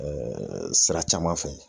sira caman fɛ.